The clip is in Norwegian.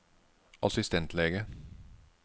assistentlege